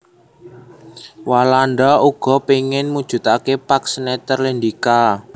Walanda uga péngin mujudaké Pax Netherlandica